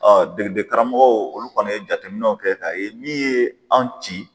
belebe karamɔgɔw olu kɔni ye jateminɛw kɛ k'a ye min ye anw ci